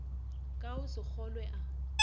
ka go se kgolwe a